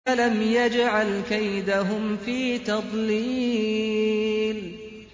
أَلَمْ يَجْعَلْ كَيْدَهُمْ فِي تَضْلِيلٍ